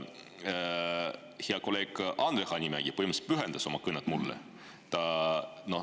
Hea kolleeg Andre Hanimägi põhimõtteliselt pühendas oma kõne mulle.